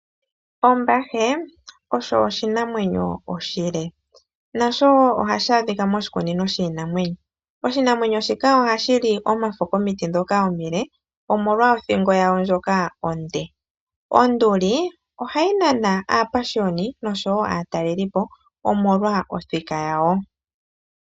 Ombahe osho oshinamwenyo oshile . Nasho ohadhi adhika moshikunino . Oshinamwenyo shika ohashi li omafo komiti ndhoka omile omolwa othingo onene . Onduli ohayi nana aapashioni noshowoo aatalelipo omolwa othika yawo.